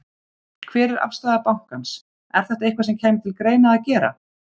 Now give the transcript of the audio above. Hver er afstaða bankans, er þetta eitthvað sem kæmi til greina að gera?